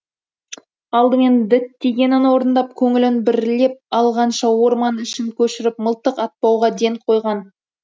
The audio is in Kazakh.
алдымен діттегенін орындап көңілін бірлеп алғанша орман ішін көшіріп мылтық атпауға ден қойған